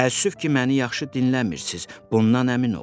Təəssüf ki, məni yaxşı dinləmirsiz, bundan əmin oldum.